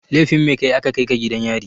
Lefin me kayi aka kai ka gidan yari?